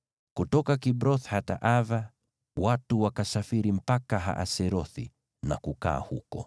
Kutoka Kibroth-Hataava watu wakasafiri mpaka Haserothi na kukaa huko.